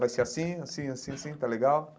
Vai ser assim, assim, assim, assim, tá legal?